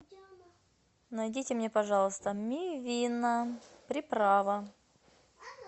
найдите мне пожалуйста мивина приправа